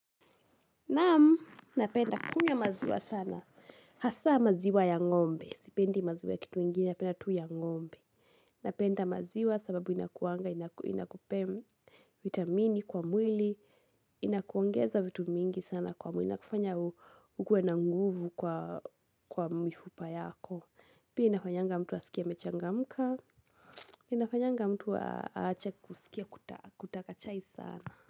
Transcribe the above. Naam, napenda kunywa maziwa sana. Hasa maziwa ya ngombe, sipendi maziwa ya kitu ingine, napenda tu ya ngombe. Napenda maziwa sababu inakuanga, inakupee, vitamini, kwa mwili, inakuongeza vitu mingi sana kwa mwili. Inakufanya ukuwe na nguvu kwa mifupa yako. Pia inafanyanga mtu asikie amechangamka inafanyanga mtu aache kusikia kutaka chai sana.